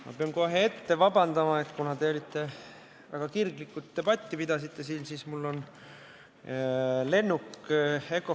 Ma pean kohe ette vabandust paluma, et kuna te pidasite siin väga kirglikult debatti, siis mul on veidi vähe aega.